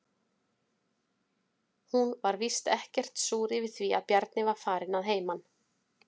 Hún var víst ekkert súr yfir að Bjarni var farinn að heiman.